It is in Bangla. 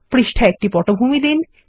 পৃষ্ঠায় একটি পটভূমি দিন